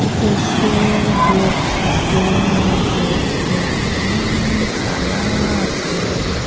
etu ase grapes as grapes tu maan kala ase.